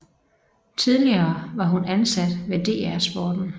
Tidligere var hun ansat ved DR Sporten